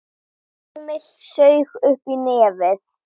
Emil saug uppí nefið.